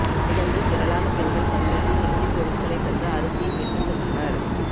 நிகழ்வில் திரளான பெண்கள் பங்கேற்று நெகிழி பொருட்களை தந்து அரிசியை பெற்று சென்றனா்